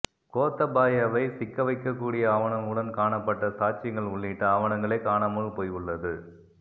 கோத்தபாயவை சிக்க வைக்க கூடிய ஆவணங்களுடன் காணப்பட்ட சாட்சியங்கள் உள்ளிட்ட ஆவணங்களே காணாமல் போயுள்ளது